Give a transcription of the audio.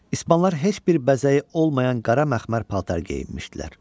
İspanlar heç bir bəzəyi olmayan qara məxmər paltar geyinmişdilər.